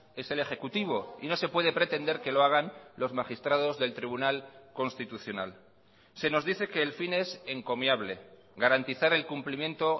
es el ejecutivo y no se puede pretender que lo hagan los magistrados del tribunal constitucional se nos dice que el fin es encomiable garantizar el cumplimiento